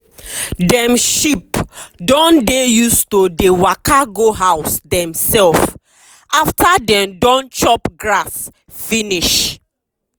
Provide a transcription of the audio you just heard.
dem sheep don dey use to dey waka go house dem sef after dey don chop grass finish.